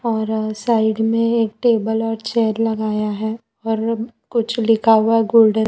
और साइड में एक टेबल और चेयर लगाया है और कुछ लिखा हुआ गोल्डर--